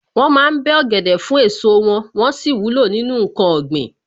Wọ́n ma ń bẹ́ ọ̀gẹ̀dẹ̀ fún èso wọn, wón sì wúlò nínú ǹkan ọ̀gbìn.